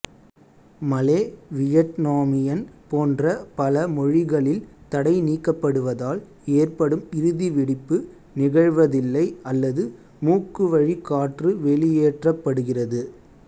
மலே Vietnamese போன்ற பல மொழிகளில் தடை நீக்கப்படுவதால் ஏற்படும் இறுதி வெடிப்பு நிகழ்வதில்லை அல்லது மூக்குவழி காற்று வெளியேற்றப்படுகிறது